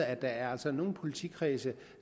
at der altså er nogle politikredse